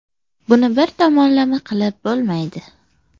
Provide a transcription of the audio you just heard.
Buni bir tomonlama qilib bo‘lmaydi.